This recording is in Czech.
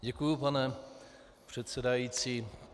Děkuji, pane předsedající.